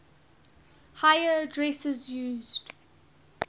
higher addresses used